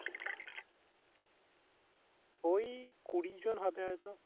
ওই কুড়ি জন হবে হয়তো